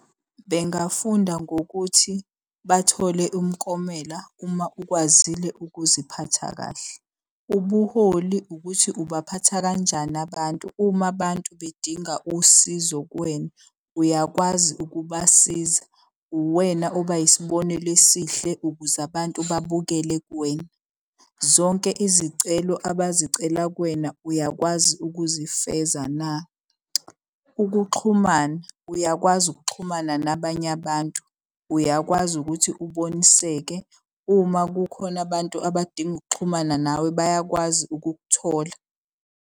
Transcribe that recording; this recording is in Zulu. Bengafunda ngokuthi bathole umklomela uma ukwazile ukuziphatha kahle. Ubuholi ukuthi ubaphatha kanjani abantu. Uma abantu bedinga usizo kuwena, uyakwazi ukubasiza. Uwena oba yisibonelo esihle ukuze abantu babukele kuwena. Zonke izicelo abazicela kuwena uyakwazi ukuzifeza na? Ukuxhumana, uyakwazi ukuxhumana nabanye abantu. Uyakwazi ukuthi uboniseke. Uma kukhona abantu abadinga ukuxhumana nawe bayakwazi ukukuthola.